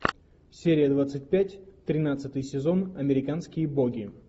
серия двадцать пять тринадцатый сезон американские боги